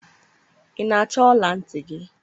ị na-achọ ọla ntị gị?